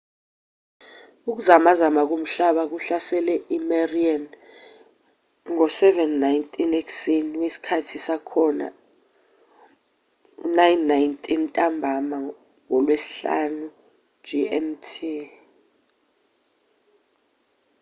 ukuzamazama komhlaba kuhlasele i-mariana ngo-07:19 ekuseni wesikhathi sakhona 09:19 ntambama ngolwesihlanu gmt